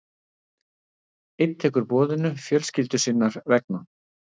Einn tekur boðinu fjölskyldu sinnar vegna.